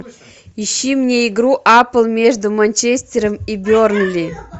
ищи мне игру апл между манчестером и бернли